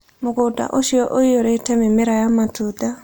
Mũgũnda ũcio ũiyũrĩte mĩmera ya matunda.